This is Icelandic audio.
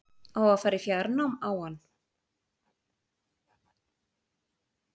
Á að fara í fjárnám á hann?